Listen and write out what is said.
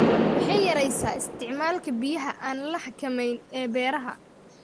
Waxay yaraysaa isticmaalka biyaha aan la xakamayn ee beeraha.